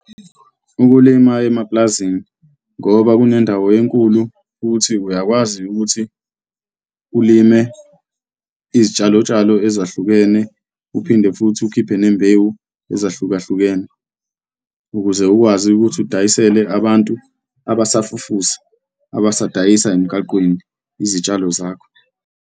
Ukulima emapulazini ngoba kunendawo enkulu futhi uyakwazi ukuthi ulime izitshalo tshalo ezahlukene, uphinde futhi ukhiphe nembewu ezahlukahlukene ukuze ukwazi ukuthi udayisele abantu abasafufusa, abadayisa emgaqweni, izitshalo zakho.